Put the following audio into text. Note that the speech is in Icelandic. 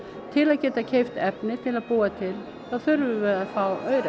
til að geta keypt efni til að búa til þá þurfum við að fá aura